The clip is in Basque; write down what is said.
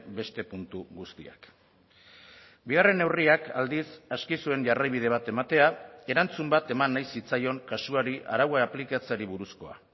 beste puntu guztiak bigarren neurriak aldiz aski zuen jarraibide bat ematea erantzun bat eman nahi zitzaion kasuari araua aplikatzeari buruzkoa